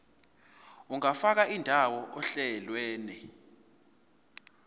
ungafaka indawo ohlelweni